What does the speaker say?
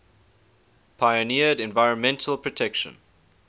pioneered environmental protection